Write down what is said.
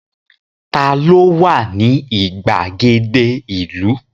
Ta ló wà ní ìgbàgede ìlú?